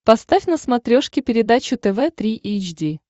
поставь на смотрешке передачу тв три эйч ди